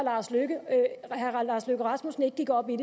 at herre lars løkke rasmussen ikke gik op i